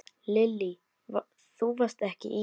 Lillý: Þú varst ekki í?